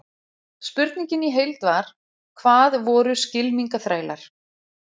Spurningin í heild var: Hvað voru skylmingaþrælar?